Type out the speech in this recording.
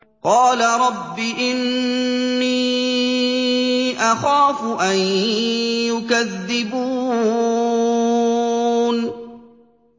قَالَ رَبِّ إِنِّي أَخَافُ أَن يُكَذِّبُونِ